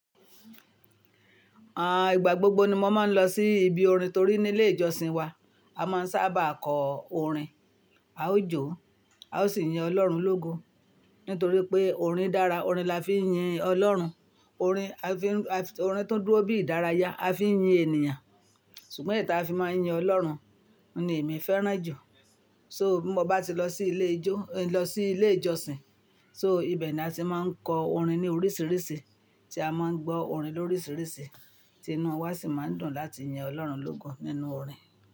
Ah, ìgbà gbogbo ni mo máa ń lọ sí ibi orin torí nílé ìjọsìn wa, a máa ń sábà kọ orin, a ó jó, a ó sì yin Ọlọ́run lógo. Nítorí pé orin dára, orin la fi ń yin Ọlọ́run. Orin, orin tó dúró bí ìdárayá, a fi ń yin ènìyàn. Ṣùgbọ́n èyí tí a fi máa ń yin Ọlọ́run ni èmi fẹ́ràn jù. So, bí mo bá ti lọ sí ilé ijó, lọ sí ilé ìjọsìn, so ibẹ̀ ni a ti máa ń kọ orin ní oríṣiríṣi, tí a máa ń gbọ́ orin lóríṣiríṣi, tí inú wa sì máa ń dùn láti yin Ọlọ́run lógo nínú orin.